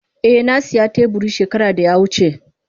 Eh na siya teburin shekara da ya wuce.